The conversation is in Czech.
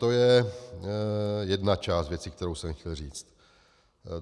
To je jedna část věci, kterou jsem chtěl říct.